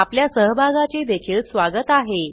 आपल्या सहभागाचे देखील स्वागत आहे